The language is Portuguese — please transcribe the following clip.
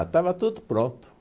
Já estava tudo pronto.